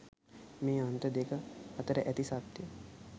මේ අන්ත දෙක අතර ඇති සත්‍යය